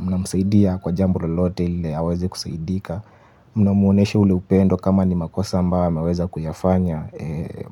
Mnamsaidia kwa jambo lolote ili aweze kusaidika. Mnamuoneshe ule upendo kama ni makosa ambayo ameweza kuyafanya.